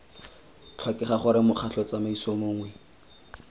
tlhokega gore mokgatlho tsamaiso mongwe